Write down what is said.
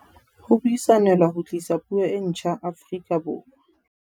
Ho buisanelwa ho tlisa puo e ntjha Aforika Borwa